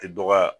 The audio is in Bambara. Tɛ dɔgɔya